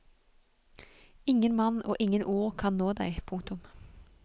Ingen mann og ingen ord kan nå deg. punktum